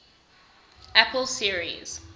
apple series